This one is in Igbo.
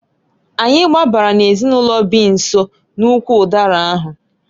Anyị gbabara n'ezinụlọ bi nso n'ụkwụ ụdara ahụ.